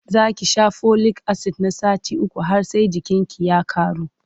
Za ki sha folik-asid na sati uku har sai jininki ya ƙaru.